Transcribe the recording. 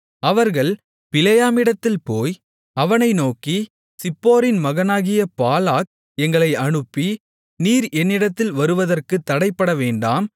அவர்கள் பிலேயாமிடத்தில் போய் அவனை நோக்கி சிப்போரின் மகனாகிய பாலாக் எங்களை அனுப்பி நீர் என்னிடத்தில் வருவதற்குத் தடைபடவேண்டாம்